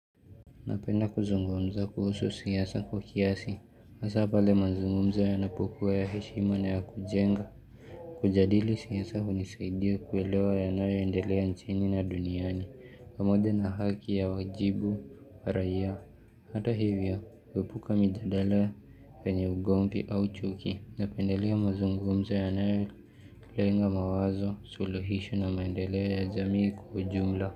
Napenda kuzungumza kuhusu siasa kwa kiasi, hasa pale mazungumzo yanapokuwa ya heshima na ya kujenga. Kujadili siasa hunisaidia kuelewa yanayoyendelea nchini na duniani, pamoja na haki ya wajibu wa raia. Hata hivyo, huepuka mijadala zenye ugomvi au chuki. Napendelea mazungumza yanayoenga mawazo suluhishu na maendeleo ya jamii kujumla.